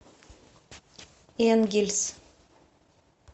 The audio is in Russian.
энгельс